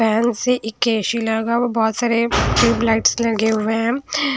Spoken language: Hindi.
फैन से एक ए_सी लगा हुआ है बहोत सारे ट्यूब लाइट्स लगे हुए हैं।